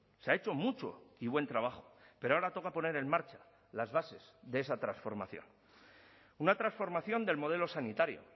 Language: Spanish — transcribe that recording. se ha hecho mucho y buen trabajo pero ahora toca poner en marcha las bases de esa transformación una transformación del modelo sanitario